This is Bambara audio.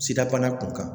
Sidabana kun kan